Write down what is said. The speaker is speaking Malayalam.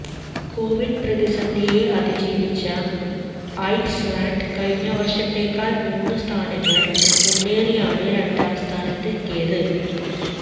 കോവിഡ് പ്രതിസന്ധിയെ അതിജീവിച്ച ഐസ്ലാൻഡ് കഴിഞ്ഞ വർഷത്തേക്കാൾ മൂന്ന് സ്ഥാനങ്ങൾ മുന്നേറിയാണ് രണ്ടാം സ്ഥാനത്ത് എത്തിയത്